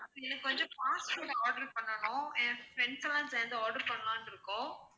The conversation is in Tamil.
எனக்கு வந்து fast food order பண்ணனும். என் friends லாம் சேர்ந்து order பண்ணலாம்னு இருக்கோம்